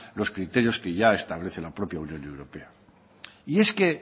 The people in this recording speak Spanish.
los criterios que ya establece la propia unión europa y es que